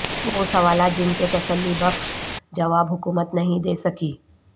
وہ سوالات جن کے تسلی بخش جواب حکومت نہیں دے سکی